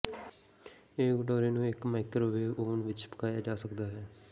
ਇਹ ਕਟੋਰੇ ਨੂੰ ਇਕ ਮਾਈਕ੍ਰੋਵੇਵ ਓਵਨ ਵਿੱਚ ਪਕਾਏ ਜਾ ਸਕਦਾ ਹੈ